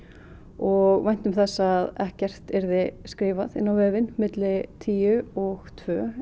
og væntum þess að ekkert yrði skrifað inn á vefinn milli tíu og tvö